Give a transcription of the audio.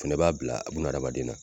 O fɛnɛ b'a bila a buna adamaden na